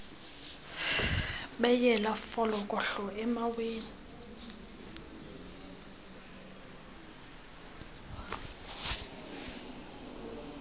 beyela folokohlo emaweni